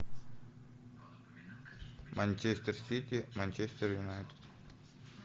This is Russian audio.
манчестер сити манчестер юнайтед